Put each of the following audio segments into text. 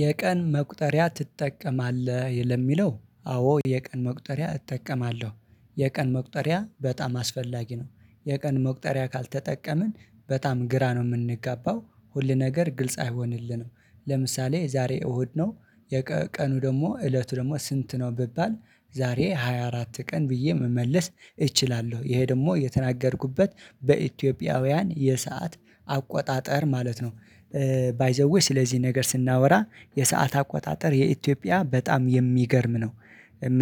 የቀን መቁጠሪያ ትጠቀማለህ ለሚለው አዎ የቀን መቁጠሪያ እጠቀማለሁ የቀን መቁጠሪያ በጣም አስፈላጊ ነው። የቀን መቁጠሪያ ካልተጠቀምን በጣም ግራ ነው የምንገባው ሁሉነገር ግልጽ አይሆንልንም። ለምሳሌ ዛሬ እሁድ ነው የቀኑ ደግሞ እለቱ ደግሞ ስንት ነው ብባል? ዛሬ ሃያ አራት ቀን ብዬ መመለስ እችላለሁ ይሄ ደግሞ የተናገርኩበት በኢትዮጵያውያን የሰዓት አቆጣጠር ማለት ነው። ባይ ዘ ዌይ ስለዚህ ነገር ስናወራ የሰዓት አቆጣጠር የኢትዮጵያ በጣም የሚገርም ነው።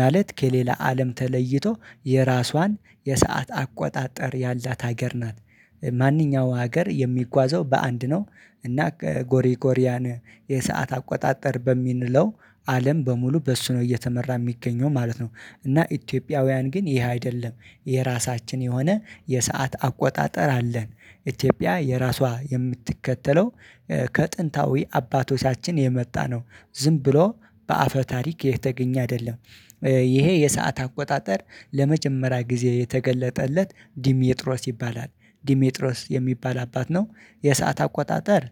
ማለት ከሌላ አለም ተለይቶ የራሷን የሰዓት አቆጣጠር ያላት ሀገር ናት። ማንኛውም ሀገር የሚጓዘው በአንድ ነው። እና ጎሪ ጎሪያን የሰዓት አቆጣጠር በሚለው አለም በሙሉ በሱ ነው እየተመራ የሚገኘው ማለት ነው። እና ኢትዮጵያውያን ግን ይህ አይደለም። የራሳችን የሆነ የሰዓት አቆጣጠር አለን። ኢትዮጵያ የራሷ የምትከተለው ከጥንታዊ አባቶቻችን የመጣ ነው። ዝም ብሎ በአፈ ታሪክ የተገኘ አይደለም። ይሄ የሰዓት አቆጣጠር ለመጀመሪያ ጊዜ የተገለጠለት ዲሜጥሮስ ይባላል። ዲሜጥሮስ የሚባል አባት ነው። የሰዓት አቆጣጠር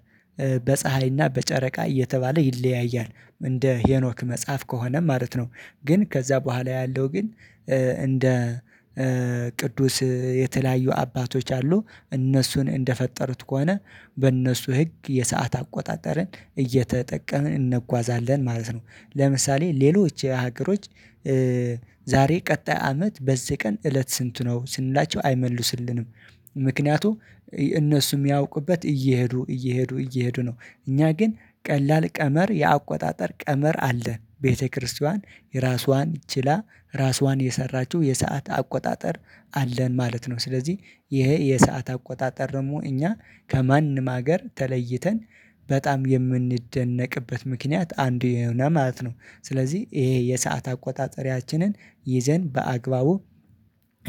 በፀሀይ እና በጨረቃ እየተባለ ይለያያል እንደ ሄኖክ መጽሐፍ ከሆነ ማለት ነው። ግን ከዛ በኋላ ያለው ግን እንደ ቅዱስ የተለያዩ አባቶች አሉ እነሱን እንደፈጠሩት ከሆነ በእነሱ ህግ የሰዓት አቆጣጠርን እየተጠቀምን እንጓዛለን ማለት ነው። ለምሳሌ ሌሎች ሀገሮች ዛሬ ቀጣይ አመት በዚህ ቀን እለት ስንት ነው ስንላቸው አይመልሱልንም። ምክንያቱም እነሱ የሚያውቁበት እየሄዱ እየሄዱ እየሄዱ ነው። እኛ ግን ቀላል ቀመር የአቆጣጠር ቀመር አለ ቤተክርስቲያን የራሷን ችላ ራሷን የሰራችው የሰዓት አቆጣጠር አለን ማለት ነው። ስለዚህ ይሄ የሰዓት አቆጣጠር ደግሞ እኛ ከማንም ሀገር ተለይተን በጣም የምንደነቅበት ምክንያት አንዱ የሆነ ማለት ነው። ስለዚህ ይሄ የሰዓት አቆጣጠሪያችንን ይዘን በአግባቡ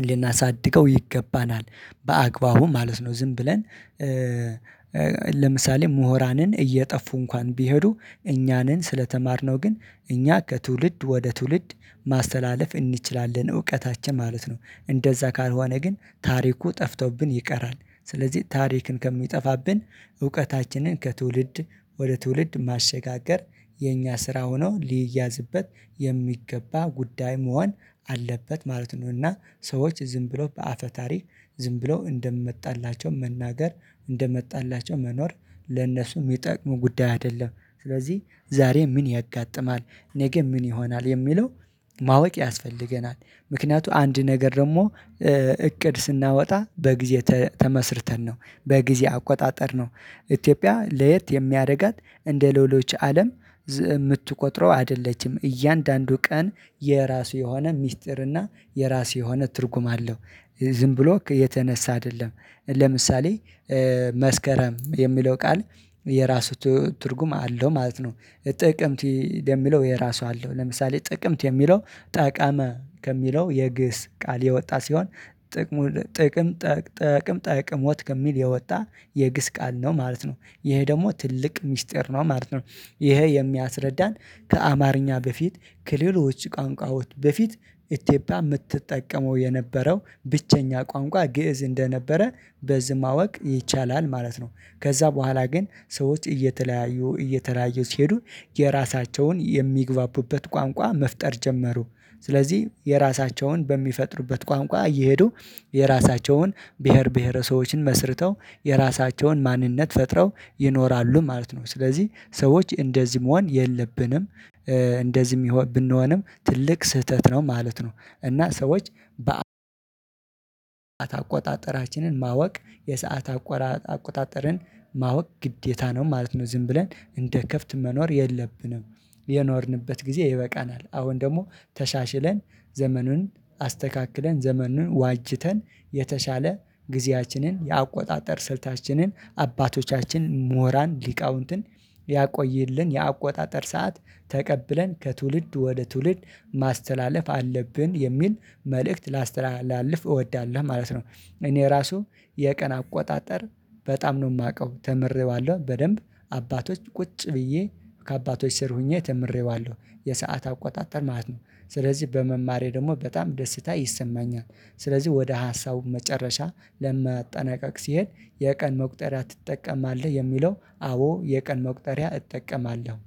ልናሳድገው ይገባናል። በአግባቡ ማለት ነው ዝም ብለን ለምሳሌ ምሁራንን እየጠፉ እንኳን ቢሄዱ እኛንን ስለተማርነው ግን እኛ ከትውልድ ወደ ትውልድ ማስተላለፍ እንችላለን እውቀታችን ማለት ነው። እንደዛ ካልሆነ ግን ታሪኩ ጠፍቶብን ይቀራል። ስለዚህ ታሪክን ከሚጠፋብን እውቀታችንን ከትውልድ ወደ ትውልድ ማሸጋገር የኛ ስራ ሆኖ ሊያዝበት የሚገባ ጉዳይ መሆን አለበት ማለት ነው። እና ሰዎች ዝም ብሎ በአፈ ታሪክ ዝም ብሎ እንደመጣላቸው መናገር እንደመጣላቸው መኖር ለነሱ የሚጠቅሙ ጉዳይ አይደለም። ስለዚህ ዛሬ ምን ያጋጥማል? ነገ ምን ይሆናል የሚለው ማወቅ ያስፈልገናል። ምክንያቱም አንድ ነገር ደግሞ እቅድ ስናወጣ በጊዜ ተመስርተን ነው በጊዜ አቆጣጠር ነው። ኢትዮጵያ ለየት የሚያደርጋት እንደ ሌሎች አለም ዝ የምትቆጥረው አይደለችም። እያንዳንዱ ቀን የራሱ የሆነ ሚስጥር እና የራሱ የሆነ ትርጉም አለው። ዝም ብሎ የተነሳ አይደለም። ለምሳሌ መስከረም የሚለው ቃል የራሱ ትርጉም አለው ማለት ነው። ጥቅምት የሚለው የራሱ አለው ለምሳሌ ጥቅምት የሚለው ጠቀመ ከሚለው የግእዝ ቃል የወጣ ሲሆን ጥቅም ጥቅም ጠቅም ጠቅሞት ከሚል የወጣ የግእዝ ቃል ነው ማለት ነው። ይሄ ደግሞ ትልቅ ሚስጥር ነው ማለት ነው። ይሄ የሚያስረዳን ከአማርኛ በፊት ከሌሎች ቋንቋዎች በፊት ኢትዮጵያ የምትጠቀመው የነበረው ብቸኛ ቋንቋ ግእዝ እንደነበረ በዝማወቅ ይቻላል ማለት ነው። ከዛ በኋላ ግን ሰዎች እየተለያዩ እየተለያዩ ሲሄዱ የራሳቸውን የሚግባቡበት ቋንቋ መፍጠር ጀመሩ። ስለዚህ የራሳቸውን በሚፈጥሩበት ቋንቋ እየሄዱ የራሳቸውን ብሄር ብሄር ሰዎችን መስርተው የራሳቸውን ማንነት ፈጥረው ይኖራሉ ማለት ነው። ስለዚህ ሰዎች እንደዚህ መሆን የለብንም። እንደዚህ ብንሆንም ትልቅ ስህተት ነው ማለት ነው። እና ሰዎች በ አቋጣጠራችንን ማወቅ የሰዓት አቋራጥ አቋጣጠርን ማወቅ ግዴታ ነው ማለት ነው። ዝም ብለን እንደ ከብተሰ መኖር የለብንም። የኖርንበት ጊዜ ይበቃናል አሁን ደግሞ ተሻሽለን ዘመኑን አስተካክለን ዘመኑን ዋጅተን የተሻለ ጊዜያችንን የአቆጣጠር ስልታችንን አባቶቻችንን ሞራን ሊቃውንትን ያቆይልን የአቆጣጠር ሰዓት ተቀብለን ከትውልድ ወደ ትውልድ ማስተላለፍ አለብን የሚል መልእክት ላስተላልፍ እወዳለሁ ማለት ነው። እኔ ራሱ የቀን አቆጣጠር በጣም ነው የማውቀው ተምሬዋለሁ በደንብ አባቶች ቁጭ ብዬ ከአባቶች ስር ሆኜ ተምሬዋለሁ የሰዓት አቆጣጠር ማለት ነው። ስለዚህ በመማሬ ደግሞ በጣም ደስታ ይሰማኛል። ስለዚህ ወደ ሀሳቡ መጨረሻ ለመጠናቀቅ ሲሄድ የቀን መቁጠሪያ ትጠቀማለህ የሚለው አዎ የቀን መቁጠሪያ እጠቀማለሁ